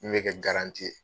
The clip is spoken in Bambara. I be kɛ ye.